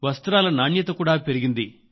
వస్త్రాల నాణ్యత కూడా పెరిగింది